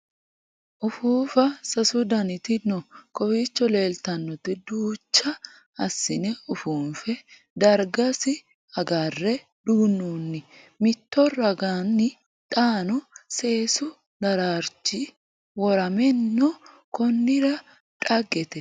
Uffuuffa sasu dannitti noo kowiicho leelittannotti duucha asiinne ufuunffe darigasi agarre duunnonni mitto raganni xaanno seessu daraarrichchi woramminno konnira dhaaggete